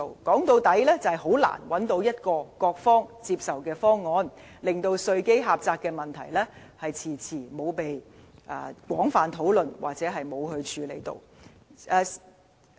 說到底，是難以找到各方接受的方案，令稅基狹窄的問題遲遲沒有被廣泛討論或處理。